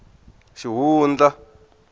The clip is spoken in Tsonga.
xihundla